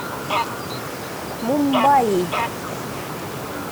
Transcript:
мумбаи